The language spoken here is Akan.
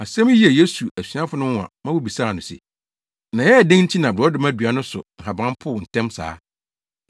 Asɛm yi yɛɛ Yesu asuafo no nwonwa ma wobisaa no se, “Na ɛyɛɛ dɛn nti na borɔdɔma dua no so nhaban poo ntɛm saa?”